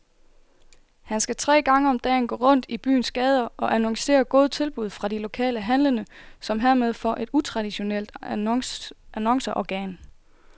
Han skal tre gange om dagen gå rundt i byens gader og annoncere gode tilbud fra de lokale handlende, som hermed får et utraditionelt annonceorgan.